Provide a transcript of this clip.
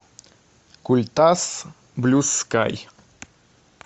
культас блю скай